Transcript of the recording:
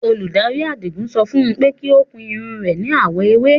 Olúdárí Àdígún sọ fún ọ̀n pẹ̀ kí o kun irun re ní awọ̀ èwè.